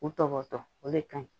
U tɔbɔtɔ o de ka ɲi